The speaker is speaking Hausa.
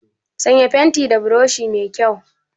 Sanya fentin da burushi mai kyau!